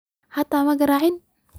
Xita magaracin.